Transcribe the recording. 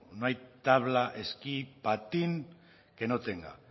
no hay tabla esquí patín que no tenga